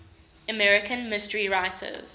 american mystery writers